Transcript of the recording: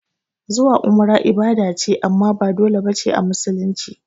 Zuwa umrah ibada ce amma ba dole bace a musulunci